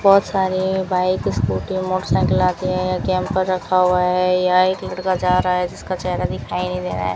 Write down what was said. बहोत सारेए bike scooty motorcycle आके कैंपर पर रखा हुआ है यह एक लड़का जा रहा है जिसका चेहरा दिखाई नहीं दे रहा है।